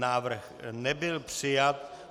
Návrh nebyl přijat.